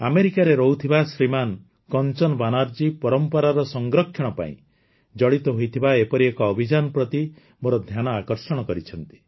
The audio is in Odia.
ଆମେରିକାରେ ରହୁଥିବା ଶ୍ରୀମାନ କଂଚନ ବାନାର୍ଜୀ ପରମ୍ପରାର ସଂରକ୍ଷଣ ପାଇଁ ଜଡ଼ିତ ହୋଇଥିବା ଏପରି ଏକ ଅଭିଯାନ ପ୍ରତି ମୋର ଧ୍ୟାନ ଆକର୍ଷଣ କରିଛନ୍ତି